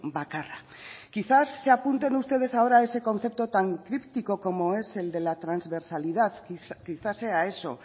bakarra quizás se apunten ustedes ahora a ese concepto tan críptico como es el de la transversalidad quizá sea eso